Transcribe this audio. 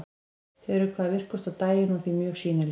Þau eru hvað virkust á daginn og því mjög sýnileg.